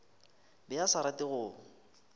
be a sa rate go